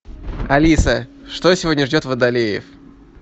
алиса что сегодня ждет водолеев